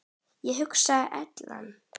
Ég hugsaði: Ellen?